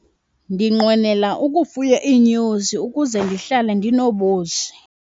Ndinqwenela ukufuya iinyosi ukuze ndihlale ndinobusi.